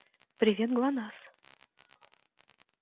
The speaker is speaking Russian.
привет глонассс